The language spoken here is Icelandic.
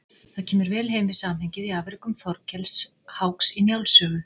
Það kemur vel heim við samhengið í afrekum Þorkels háks í Njáls sögu.